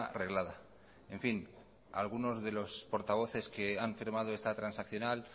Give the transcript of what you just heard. reglada en fin algunos de los portavoces que han firmado esta transaccional